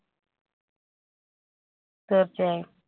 തീർച്ചയായും